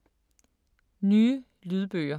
Nye lydbøger